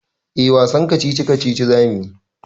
Eh wasan kacici-kacici za mu yi.